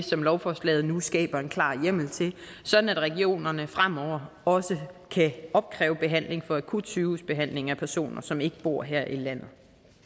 som lovforslaget nu skaber en klar hjemmel til sådan at regionerne fremover også kan opkræve behandling for akutsygehusbehandling af personer som ikke bor her i landet